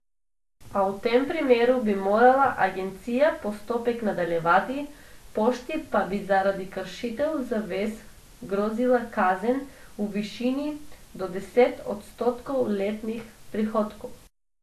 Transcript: A v tem primeru bi morala agencija postopek nadaljevati, pošti pa bi zaradi kršitev zavez grozila kazen v višini do deset odstotkov letnih prihodkov.